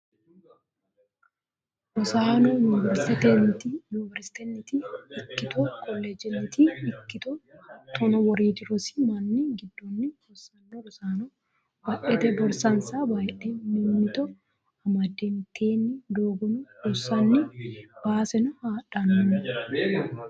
Rosaano yuniveristenniti ikkitto koleejjeniti ikkitto hatto woriidi rosi minna giddoni rosano rosaano badhete borsansa bayidhe mimmitto amade mitteenni doogono ronsanni baseno hadhano.